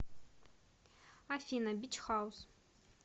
афина бич хаус